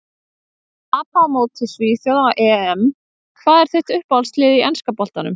Að tapa á móti svíþjóð á EM Hvað er þitt uppáhaldslið í enska boltanum?